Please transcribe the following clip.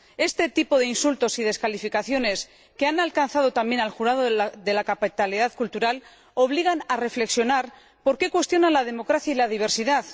Este tipo de insultos y descalificaciones, que han alcanzado también al jurado de la capitalidad cultural, obliga a plantearse por qué cuestionan la democracia y la diversidad.